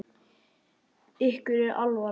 Ykkur er ekki alvara!